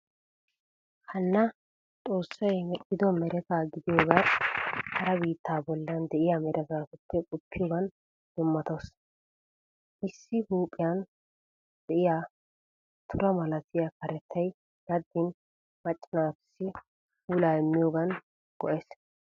Hanna xoossay mexxido mereta gidiyogan hara biittaa bollan de'iyaa meretaappe qoppiyoogan dummatawusu. Issi huuphiyan de'iyaa tura malatiya karettay daddin macca naatussi puulaa immiyogan go'ees.